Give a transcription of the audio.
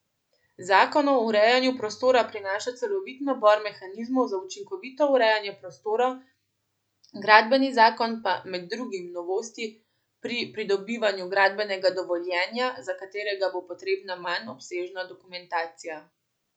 Zakon o urejanju prostora prinaša celovit nabor mehanizmov za učinkovito urejanje prostora, gradbeni zakon pa med drugim novosti pri pridobivanju gradbenega dovoljenja, za katerega bo potrebna manj obsežna dokumentacija.